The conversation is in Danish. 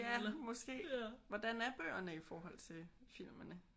Ja måske. Hvordan er bøgerne i forhold til filmene?